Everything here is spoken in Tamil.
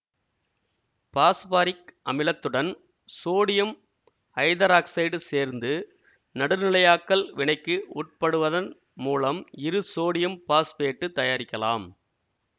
பாஸ்பாரிக் அமிலத்துடன் சோடியம் ஐதராக்சைடு சேர்த்து நடுநிலையாக்கல் வினைக்கு உட்படுவதன் மூலம் இரு சோடியம் பாஸ்பேட்டு தயாரிக்கலாம்